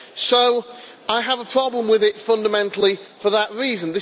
So I have a problem with it fundamentally for that reason.